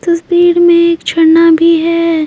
इस तस्वीर में एक छरना भी है।